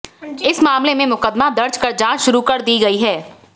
इस मामले में मुकदमा दर्ज कर जांच शुरू कर दी गई है